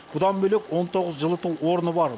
бұдан бөлек он тоғыз жылыту орны бар